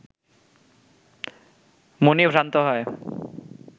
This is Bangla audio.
মুনি ভ্রান্ত হয়